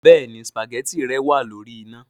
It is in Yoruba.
Béèni spaghetti rẹ wàá lórí iná